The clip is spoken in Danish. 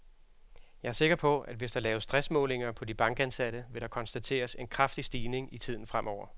Jeg er sikker på, at hvis der laves stressmålinger på de bankansatte, vil der konstateres en kraftig stigning i tiden fremover.